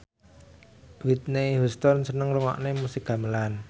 Whitney Houston seneng ngrungokne musik gamelan